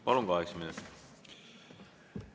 Palun, kaheksa minutit!